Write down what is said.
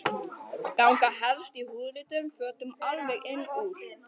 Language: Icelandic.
Ganga helst í húðlituðum fötum alveg inn úr.